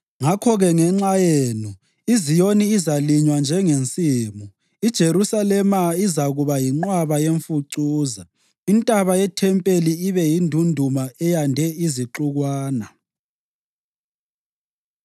Ngakho-ke ngenxa yenu, iZiyoni izalinywa njengensimu, iJerusalema izakuba yinqwaba yemfucuza, intaba yethempeli ibe yindunduma eyande izixukwana.